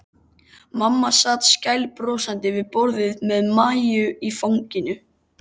Mamma sat skælbrosandi við borðið með Maju í fanginu.